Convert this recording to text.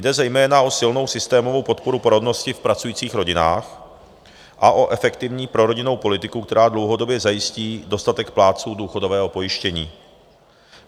Jde zejména o silnou systémovou podporu porodnosti v pracujících rodinách a o efektivní prorodinnou politiku, která dlouhodobě zajistí dostatek plátců důchodového pojištění.